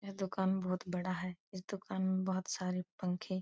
यह दुकान बहुत बड़ा है इस दुकान में बहुत सारे पंखे --